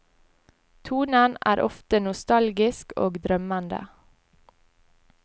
Tonen er ofte nostalgisk og drømmende.